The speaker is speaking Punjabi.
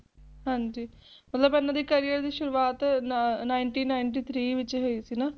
ਹਾਂਜੀ ਮਤਲਬ ਇਹਨਾਂ ਦੇ Career ਦੀ ਸ਼ੁਰੂਆਤ Ninety Ninety Three ਵਿੱਚ ਹੋਈ ਸੀ